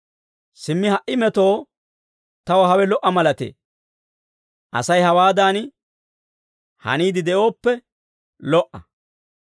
Simmi ha"i metoo taw hawe lo"a malatee; Asay hawaadan haniide de'ooppe lo"a.